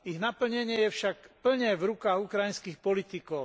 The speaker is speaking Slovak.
Ich naplnenie je však plne v rukách ukrajinských politikov.